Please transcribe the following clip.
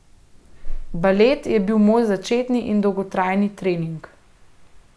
Balet je bil moj začetni in dolgoletni trening.